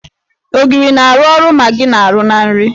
Ogiri na-arụ ọrụ Magị na -arụ na nri.